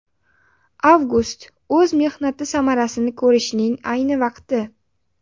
Avgust o‘z mehnati samarasini ko‘rishning ayni vaqti!